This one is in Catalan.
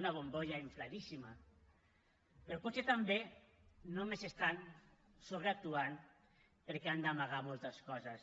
una bombolla infladíssima però potser també només estan sobreactuant perquè han d’amagar moltes coses